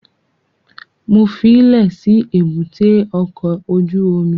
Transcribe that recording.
Mo fílẹ̀ sí èbúté ọkọ̀ ojú omi